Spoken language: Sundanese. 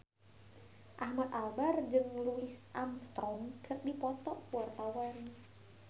Ahmad Albar jeung Louis Armstrong keur dipoto ku wartawan